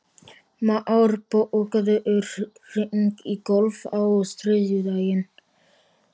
Már, bókaðu hring í golf á þriðjudaginn.